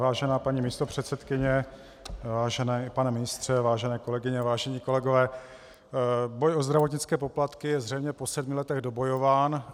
Vážená paní místopředsedkyně, vážený pane ministře, vážené kolegyně, vážení kolegové, boj o zdravotnické poplatky je zřejmě po sedmi letech dobojován.